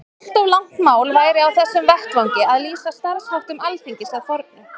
Allt of langt mál væri á þessum vettvangi að lýsa starfsháttum Alþingis að fornu.